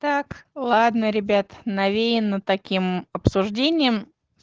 так ладно ребят навеяно таким обсуждением